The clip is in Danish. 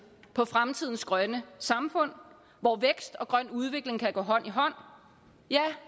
på fremtidens grønne samfund hvor vækst og grøn udvikling kan gå hånd i hånd ja